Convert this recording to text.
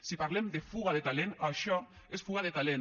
si parlem de fuga de talent això és fuga de talent